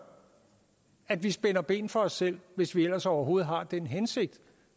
at vi spænder ben for os selv hvis vi ellers overhovedet har den hensigt